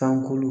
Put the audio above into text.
Tanko